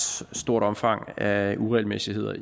stort omfang af uregelmæssigheder